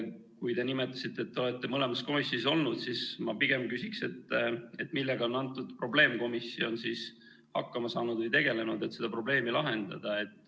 Kui te nimetasite, et te olete mõlemas komisjonis olnud, siis ma pigem küsiksin, et millega on antud probleemkomisjon hakkama saanud või tegelenud, et seda probleemi lahendada.